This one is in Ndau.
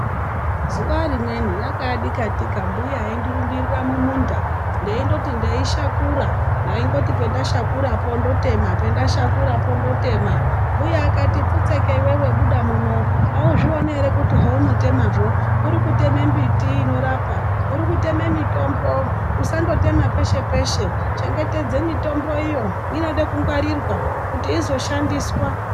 Zuva rimweni yakaadikatika mbuya eindirumbirira mumunda ,ndeindoti ndeishakura ndaindoti pandashakurapo ndotema pandashakurapo ndotema .Mbuya akati pfutseke iwewe buda muno .Auzvioni ere kuti zvaunotemazvo urikutema mbiti inorapa, urikutema mitombo. Usangoteme peshe peshe .Chengetedze mitombo iyo inoda kungwarirwa kuti izoshandiswa.